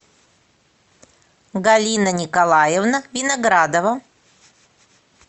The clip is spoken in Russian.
галина николаевна виноградова